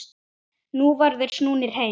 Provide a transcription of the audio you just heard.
Nú væru þeir snúnir heim.